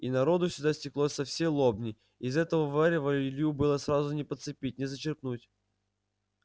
и народу сюда стеклось со всей лобни из этого варева илью было сразу не подцепить не зачерпнуть